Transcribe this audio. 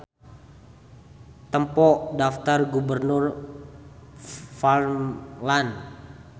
Tempo Daptar Gubernur Värmland.